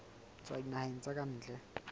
tswa dinaheng tsa ka ntle